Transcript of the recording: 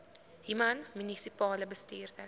human munisipale bestuurder